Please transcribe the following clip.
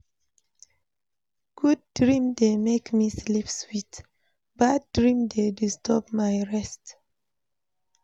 Good dream dey make me sleep sweet, bad dream dey disturb my rest.